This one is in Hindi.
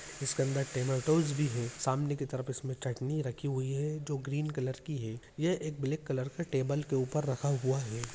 इस के अंदर टेन और टोस्ट भी है सामने की तरफ इसमें चटनी रखी हुई है जो ग्रीन कलर की है ये एक ब्लैक कलर के टेबल के ऊपर रखा हुआ है।